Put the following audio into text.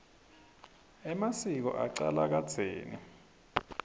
emasiko acala kadzeni